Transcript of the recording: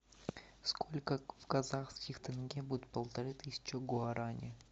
сколько в казахских тенге будет полторы тысячи гуарани